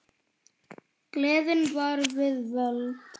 Gleðin var við völd.